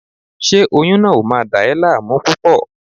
Ṣé oyún náà ò máa dà ẹ́ láàmú púpọ̀?